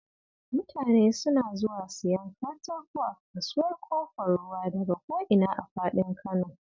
Mutane suna zuwa siyan katako a Kasuwar Ƙofar Ruwa daka ko ina a faɗin Kano